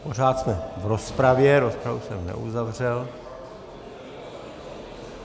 Pořád jsme v rozpravě, rozpravu jsem neuzavřel.